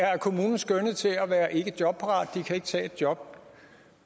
er af kommunen skønnet til at være ikkejobparate de kan ikke tage et job